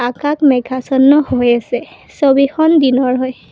আকাশ মেঘাছন্ন হৈ আছে ছবিখন দিনৰ হয়।